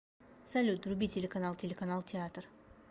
салют вруби телеканал телеканал театр